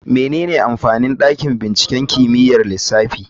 Menene amfanin dakin binciken kimiyyar lissafi?